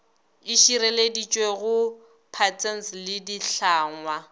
e šireleditšwego patents le ditlhangwa